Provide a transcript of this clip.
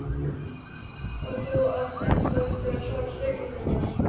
Og þú átt ennþá eftir að svara spurningu minni.